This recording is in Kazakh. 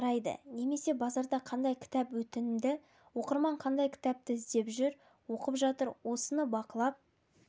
қарайды немесе базарда қандай кітап өтімді оқырман қандай кітапты іздеп жүріп оқып жатыр осыны бақылап